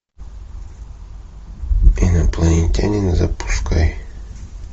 инопланетянин запускай